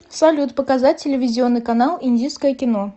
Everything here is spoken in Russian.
салют показать телевизионный канал индийское кино